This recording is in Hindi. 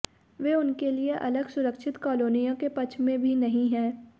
वे उनके लिए अलग सुरक्षित कॉलोनियों के पक्ष में भी नहीं हैं